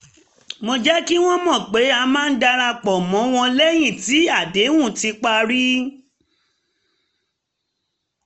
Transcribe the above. mo jẹ́ kí wọ́n mọ̀ pé a máa darapọ̀ mọ́ wọn lẹ́yìn tí àdéhùn ti parí